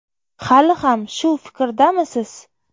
Hali ham shu fikrdamisiz?